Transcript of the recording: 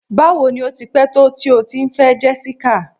Bawo ni o ti pẹ̀ to ti o ti n fẹ Jessica?